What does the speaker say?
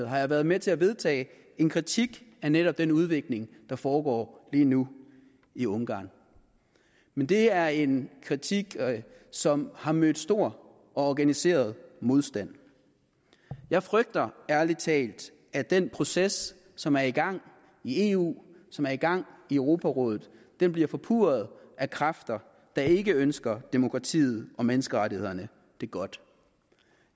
har jeg været med til at vedtage en kritik af netop den udvikling der foregår lige nu i ungarn men det er en kritik som har mødt stor og organiseret modstand jeg frygter ærlig talt at den proces som er i gang i eu som er i gang i europarådet bliver forpurret af kræfter der ikke ønsker demokratiet og menneskerettighederne det godt